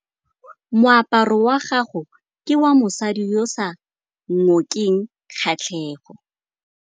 Moaparô wa gagwe ke wa mosadi yo o sa ngôkeng kgatlhegô.